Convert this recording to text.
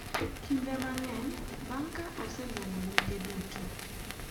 Kinde mang’eny, bang’ ka oseluongo nyinge duto, .